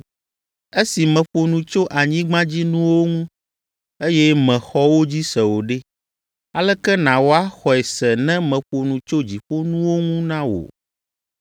Esi meƒo nu tso anyigbadzinuwo ŋu, eye mèxɔ wo dzi se o ɖe, aleke nàwɔ axɔe se ne meƒo nu tso dziƒonuwo ŋu na wò?